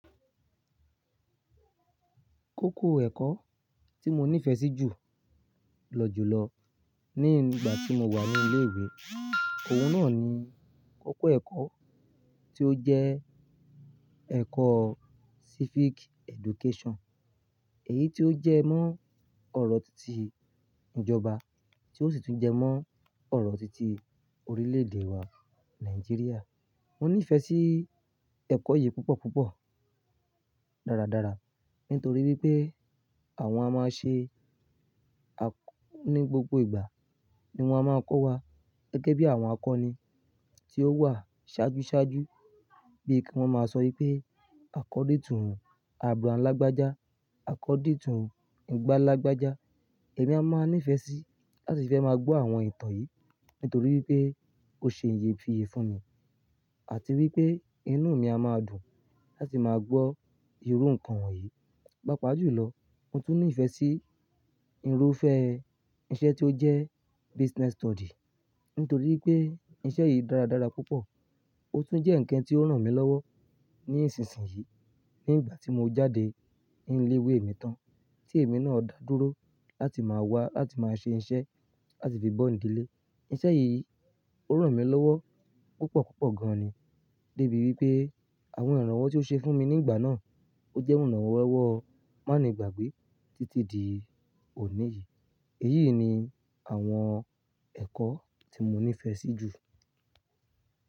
Kókó ẹ̀kọ́ tí mo nífẹ̀ẹ́ sí jù lọ jù lọ ní ìgbà tí mo wà ní ilé ìwé, òun náà ni kókó ẹ̀kọ́ tí ó jẹ́ ẹ̀kọ́ Civic Education. Èyí tí ó jẹ́ mọ́ ọ́rọ̀ tìti ìjọba, tí ó sì tún jẹ́ mọ́ ọ́rọ̀ tìti orílè-èdè wa Nàìjíríà. Mo nífẹ̀ẹ́ sí ẹ̀kọ́ yìí púpọ̀ púpọ̀ dáradára nítorí wípé àwọn a máa ń ṣe ní gbogbo ìgbà ni wón a máa ń kọ́ wa gẹ́gẹ́ bí àwọn akọni tí ó wà ṣáájú ṣáájú. Bíi kí wón máa sọ wípé according to abram lágbájá, according to ìgbà lágbájá. Èmi a máa nífẹ̀ẹ́ sí láti fẹ máa gbọ́ àwọn ìtàn yìí nítorí wípé ó ṣe iyefinye fún mi àti wípé inú mi a máa dùn láti máa gbọ́ irú nǹkan wọ̀nyí. Pápá jù lọ, mo tún nífẹ̀ẹ́ sí irúfẹ́ iṣẹ́ tí ó jẹ́ Business Study nítorí wípé iṣẹ́ yìí dáradára púpọ̀. Ó tún jẹ́ ǹkan tí ó ràn mí lọ́wọ́ ní ìsinsìnyí nígbà tí mo jáde nílé ìwé mi tán tí èmi náà dá dúró láti máa wá láti máa ṣe iṣẹ́ láti fi bọ́ ìdílé. Iṣẹ́ yìí ó ràn mí lọ́wọ́ púpọ̀ púpọ̀ gan ni dé ibi wípé àwọn ìrànwọ́ tí ó ṣe fún mi nígbà náà ó jẹ́ ìrànwọ́ má ni gbàgbé títí di òní yìí. Èyí ni àwọn ẹ̀kọ́ tí mo nífẹ̀ẹ́ sí jù.